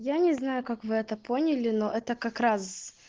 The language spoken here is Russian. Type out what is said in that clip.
я не знаю как вы это поняли но это как раз